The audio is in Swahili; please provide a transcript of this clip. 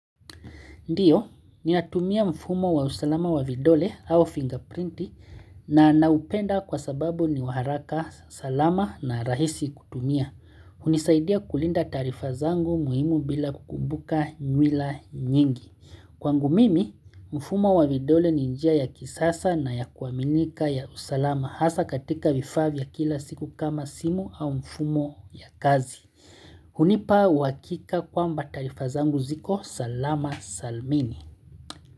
Ndio, ninatumia mfumo wa usalama wa vidole au fingerprint na naupenda kwa sababu ni wa haraka, salama na rahisi kutumia. Hunisaidia kulinda taarifa zangu muhimu bila kukumbuka nywila nyingi. Kwangu mimi, mfumo wa vidole ni njia ya kisasa na ya kuaminika ya usalama hasa katika vifaa vya kila siku kama simu au mfumo ya kazi. Hunipa uhakika kwamba taarifa zangu ziko salama salmini.